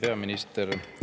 Hea peaminister!